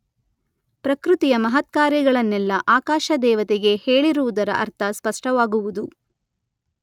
ಪ್ರಕೃತಿಯ ಮಹತ್ಕಾರ್ಯಗಳನ್ನೆಲ್ಲ ಆಕಾಶ ದೇವತೆಗೆ ಹೇಳಿರುವುದರ ಅರ್ಥ ಸ್ಪಷ್ಟವಾಗುವುದು.